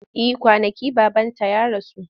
Eh kwanaki babanta ya rasu.